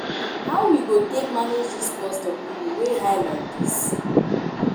How we go take manage dis cost of living wey high like dis?